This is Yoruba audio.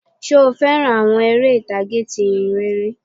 Sé o fẹ́ràn àwọn eré ìtàgé ti ìhìnrere?